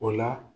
O la